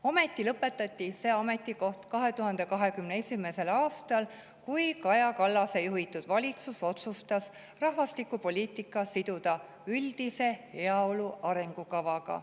Ometi kaotati see ametikoht 2021. aastal, kui Kaja Kallase juhitud valitsus otsustas rahvastikupoliitika siduda üldise heaolu arengukavaga.